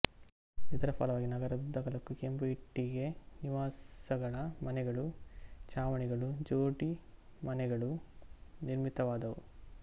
ಇದರ ಫಲವಾಗಿ ನಗರದುದ್ದಗಲಕ್ಕೂ ಕೆಂಪು ಇಟ್ಟಿಗೆ ನಿವಾಸಗಳ ಮನೆಗಳು ಛಾವಣಿಗಳು ಜೋಡಿ ಮನೆಗಳು ನಿರ್ಮಿತವಾದವು